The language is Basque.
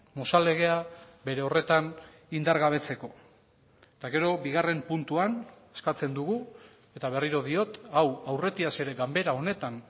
mozal legea bere horretan indargabetzeko eta gero bigarren puntuan eskatzen dugu eta berriro diot hau aurretiaz ere ganbera honetan